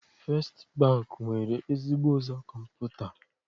Festị Bankị nwere ezigbo ụzọ kọmputa.